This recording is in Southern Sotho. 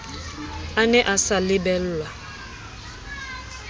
a ne a sa lebellwa